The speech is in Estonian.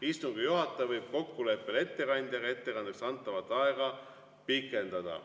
Istungi juhataja võib kokkuleppel ettekandjaga ettekandeks antavat aega pikendada.